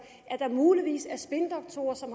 at der muligvis er spindoktorer som